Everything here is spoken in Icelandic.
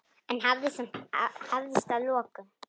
En það hafðist að lokum.